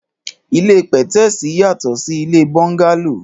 Ìlé pẹtẹsi yàtọ si ìlé bọńgàló